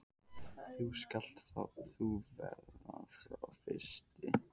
Þá skalt þú verða sá fyrsti.